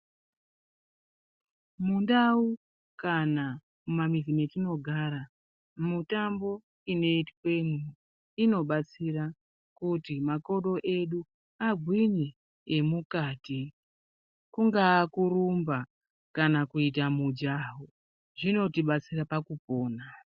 Mundau kana mumamizi metinogara, mutambo inoitwemo inobatsira kuti makodo edu agwinye, emukati. Kungaa kurumba, kana kuita mijaho, zvinotibatsira pakupona.